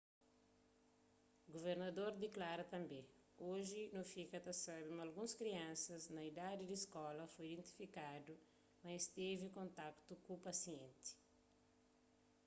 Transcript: guvernador diklara tanbê oji nu fika ta sabe ma alguns kriansas na idadi di skola foi identifikadu ma es tevi kontaktu ku pasienti